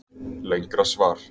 Lengra svar